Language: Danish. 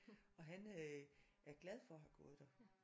Og han øh er glad for at have gået der